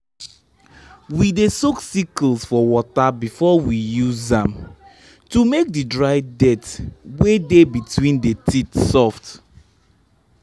we dey soak sickles for water before we use am to make the dry dirt wey dey between the teeth soft.